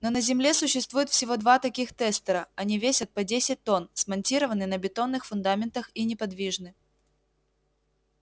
но на земле существуют всего два таких тестера они весят по десять тонн смонтированы на бетонных фундаментах и неподвижны